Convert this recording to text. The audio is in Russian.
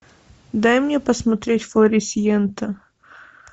дай мне посмотреть флорисьента